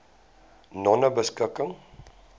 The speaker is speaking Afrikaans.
nonebeskikking